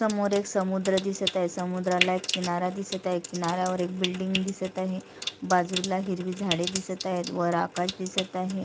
समोर एक समुद्र दिसत अय समुद्राला एक किनारा दिसत अय किनाऱ्या वर एक बिल्डिंग दिसत आहे बाजूला हिरवी झाडे दिसत आहेत वर आकाश दिसत आहे.